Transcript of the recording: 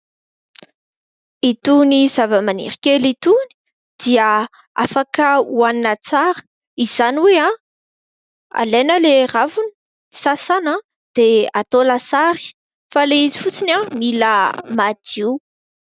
Itony zava-maniry kely itony dia afaka oanina tsara. Izany hoe alaina ilay ravina, sasana dia atao lasary. Fa ilay izy fotsiny mila madio.